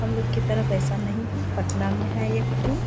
हम लोग की तरफ ऐसा नहीं है। पटना में है एक पूल ।